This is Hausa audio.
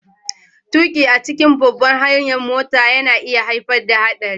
Tuki a cikin babbar hanyar mota na iya haifar da haɗari